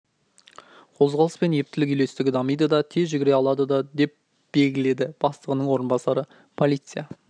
қозғалыс пен ептілік үйлестігі дамиды да тез жүгіре алады да деп белгіледі бастығының орынбасары полиция